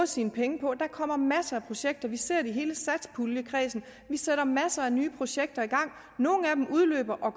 sine penge på der kommer masser af projekter vi ser det i hele satspuljekredsen vi sætter masser af nye projekter i gang nogle af dem udløber og